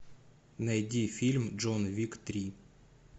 найди фильм джон уик три